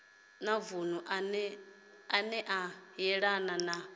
vunu ane a yelana na